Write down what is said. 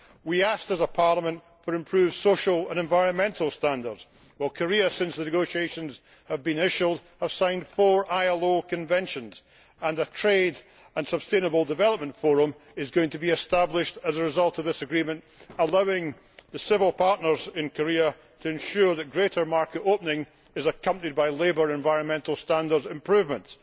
We asked as a Parliament for improved social and environmental standards. Well, Korea, since the negotiations have been initialled, has signed four ILO Conventions and their trade and sustainable development forum is going to be established as a result of this agreement allowing the civil partners in Korea to ensure that greater market opening is accompanied by labour and environmental standards improvements.